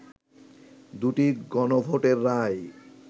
দু’টি গণভোটের রায়